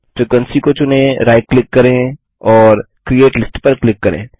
frequency को चुनें right click करेंऔर क्रिएट लिस्ट पर क्लिक करें